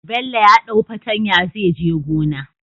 Bello ya dau fatanya zai je gona